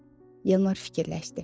Yalmar fikirləşdi.